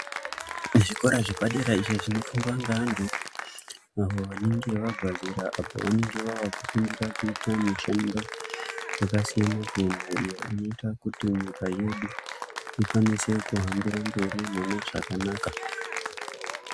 Zvikora zvepadera izvo zvinofundwa ngeavantu avo vanenga vabva zera apo vanenge vava kufundira kuita mushando yakasiyana siyana iyo inoita kuti nyika yedu ikwanise kuhambira mberi mune zvakanaka.